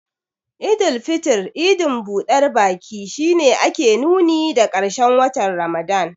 Eid al-fitr, idin budar baki, shi ne ke nuni da karshen watan Ramadan.